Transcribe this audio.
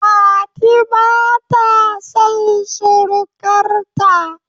Fati bata son surukar ta